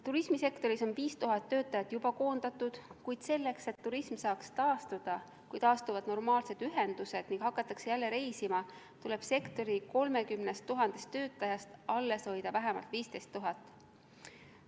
Turismisektoris on 5000 töötajat juba koondatud, kuid selleks, et turism saaks taastuda, kui taastuvad normaalsed ühendused ning hakatakse jälle reisima, tuleb sektori 30 000 töötajast alles hoida vähemalt 15 000.